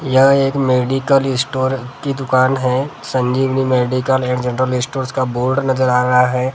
यहाँ एक medical store की दुकान है संजीगरी मेडिकल ऐड जनरल स्टोर का बोर्ड नजर आ रहा है ।